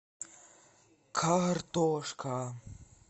картошка